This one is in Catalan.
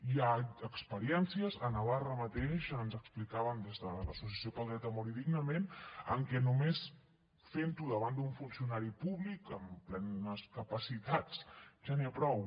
hi ha experiències a navarra mateix ens ho explicaven des de l’associació pel dret a morir dignament en què només fent ho davant d’un funcionari públic amb plenes capacitats ja n’hi ha prou